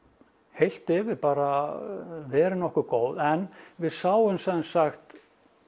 heilt yfir bara verið nokkuð góð en við sáum sem sagt